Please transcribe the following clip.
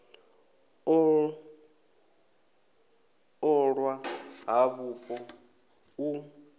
u ṱolwa ha vhupo u